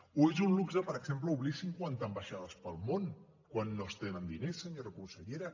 o és un luxe per exemple obrir cinquanta ambaixades pel món quan no es tenen diners senyora consellera